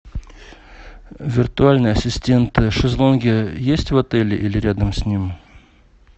виртуальный ассистент шезлонги есть в отеле или рядом с ним